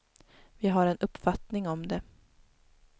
Vi har en uppfattning om det.